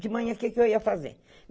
De manhã, o que eu ia fazer?